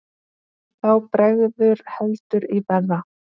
Þá bregður heldur í verra.